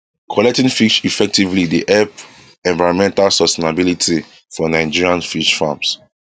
collecting fish effectively dey help environmental sustainability for nigerian fish farms